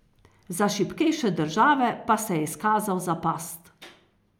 Za šibkejše države pa se je izkazal za past.